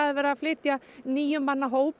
er verið að flytja níu manna hóp